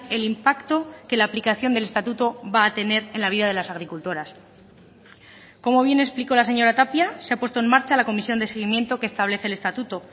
el impacto que la aplicación del estatuto va a tener en la vida de las agricultoras como bien explicó la señora tapia se ha puesto en marcha la comisión de seguimiento que establece el estatuto